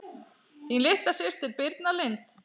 Þín litla systir Birna Lind.